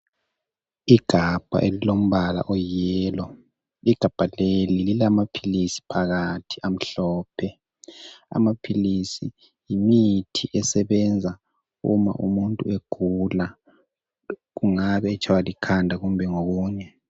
Igabha elilombala oyiyellow igabha leli lilamaphilisi phakathi amhlophe amaphilisi yimithi esebenza uma umuntu egula kungabe etshaywa likhanda kumbe okunye.